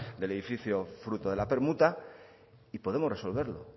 del edificio fruto de la permuta y podemos resolverlo